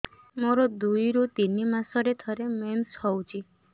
ମୋର ଦୁଇରୁ ତିନି ମାସରେ ଥରେ ମେନ୍ସ ହଉଚି